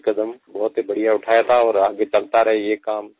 ये कदम बहुत ही बढ़िया उठाया था और आगे चलता रहे ये काम